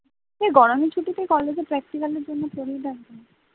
গরমের ছুটিতে কলেজের practical এর জন্য সুবিধা আরকি